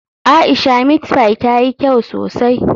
Aisha meat pie tayi kyau sosai.